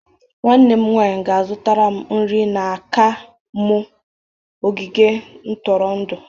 Nwanne m nwanyị ga-azụtara m nri n'aka m ogige ntụrụndụ.